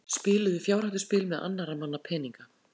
Spiluðu fjárhættuspil með annarra manna peninga